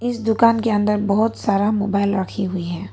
इस दुकान के अंदर बहुत सारा मोबाइल रखी हुई है।